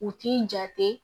U t'i jate